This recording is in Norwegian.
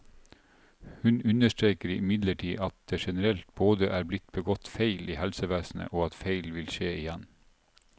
Hun understreker imidlertid at det generelt både er blitt begått feil i helsevesenet, og at feil vil skje igjen.